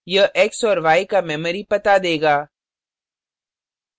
यह x और y का memory पता देगा